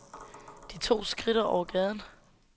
De to skridter over gaden.